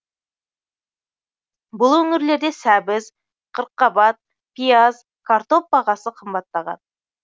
бұл өңірлерде сәбіз қырыққабат пияз картоп бағасы қымбаттаған